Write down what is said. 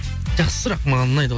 жақсы сұрақ маған ұнайды